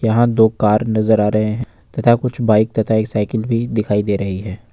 यहाँ दो कार नजर आ रहे हैं तथा कुछ बाइक तथा एक साइकिल भी दिखाई दे रही है।